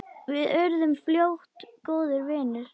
Við urðum fljótt góðir vinir.